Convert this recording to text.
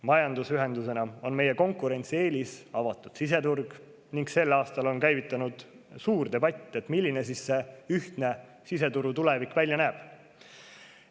Majandusühendusena on meie konkurentsieelis avatud siseturg ning sel aastal on käivitunud suur debatt selle üle, milline selle ühtse siseturu tulevik välja näeb.